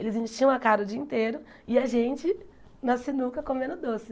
Eles enchiam a cara o dia inteiro e a gente na sinuca comendo doce.